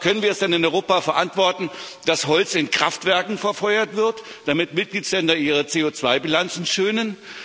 Aber können wir es denn in Europa verantworten, dass Holz in Kraftwerken verfeuert wird, damit Mitgliedstaaten ihre CO2 Bilanzen schönen?